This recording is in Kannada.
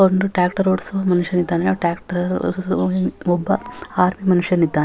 ಒಂದು ಟ್ಯಾಕ್ಟರ್ ಓಡಿಸುವ ಮನುಷ್ಯನಿದ್ದಾನೆ ಆ ಟ್ಯಾಕ್ಟರ್ ಒಬ್ಬ ಆರು ಮನುಷ್ಯನಿದ್ದಾನೆ.